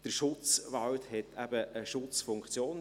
Der Schutzwald hat eben eine Schutzfunktion.